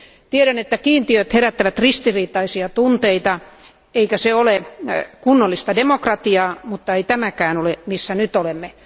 Tiedän, että kiintiöt herättävät ristiriitaisia tunteita, eikä se ole kunnollista demokratiaa, mutta ei ole tämäkään tilanne, jossa nyt olemme.